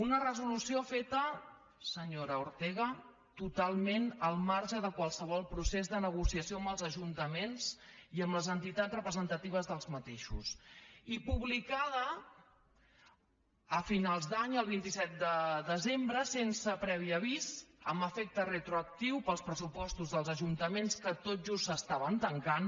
una resolució feta senyora ortega totalment al marge de qualsevol procés de negociació amb els ajuntaments i amb les entitats representatives d’aquests ajuntaments i publicada a finals d’any el vint set de desembre sense previ avís amb efecte retroactiu per als pressupostos dels ajuntaments que tot just es tancaven